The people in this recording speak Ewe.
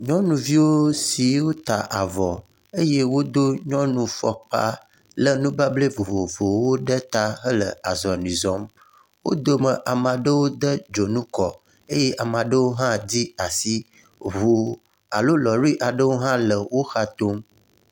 Nyonuvio siwo ta avɔ eye wodo nyɔnu fɔkpa le nubablɛ vovovowo ɖe ta hele azɔ̃li zɔm. Wo dome ame aɖewo de dzonu kɔ eye ame aɖewo hã di asi, Ʋu alo lɔri aɖewo hã le woxa tom.